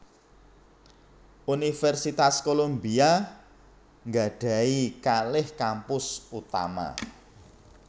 Universitas Columbia nggadhahi kalih kampus utama